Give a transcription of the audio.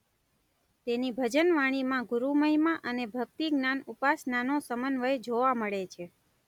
તેની ભજનવાણીમાં ગુરૂમહિમા અને ભક્તિ-જ્ઞાન ઉપાસનાનો સમન્વય જોવા મળે છે.